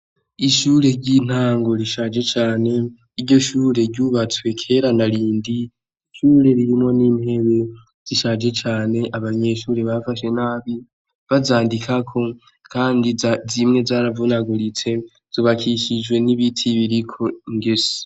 Ishure ryintango rishaje cane iryoshure ryubatswe kera narindi ishure ririmwo nintebe zishaje cane abanyeshure bafashe nabi bazandikako kandi zimwe zaravunaguritse zubakishijwe nibiti biriko ingese